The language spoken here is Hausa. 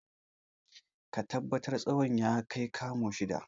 Ka tabbatar tsawon ya kai kamu shida!